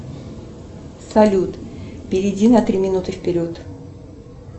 салют перейди на три минуты вперед